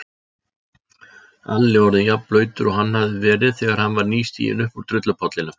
Alli orðinn jafnblautur og hann hafði verið þegar hann var nýstiginn uppúr drullupollinum.